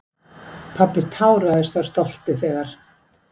Pabbi táraðist af stolti þegar